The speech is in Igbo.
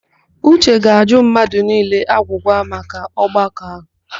Uche ga-ajụ mmadụ niile agwụgwa n'ọgbakọ ahụ.